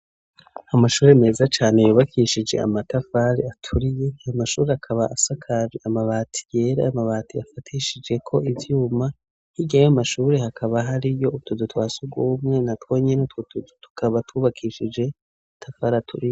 Amashuri meza cane yubakishije amatafari aturiye, Amashuri akaba asakaje amabati yera, Amabati afatishije ko ivyuma, hirya yayo mashuri hakaba hariyo utuzu twasugumwe, na twonyene utwo tuzu tukaba twubakishije Amatafari aturiye.